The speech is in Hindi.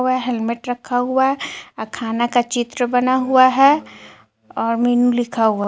हेलमेट रखा हुआ है खाना का चित्र बना हुआ है और मीनू लिखा हुआ--